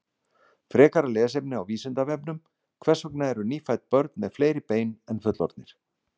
Frekara lesefni á Vísindavefnum: Hvers vegna eru nýfædd börn með fleiri bein en fullorðnir?